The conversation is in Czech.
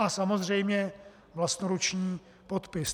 A samozřejmě vlastnoruční podpis.